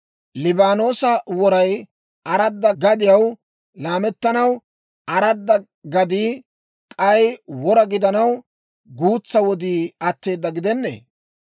Liibaanoosa woray aradda gadiyaw laamettanaw, aradda gadii k'ay wora gidanaw, guutsaa wodii atteeda gidenneeyye?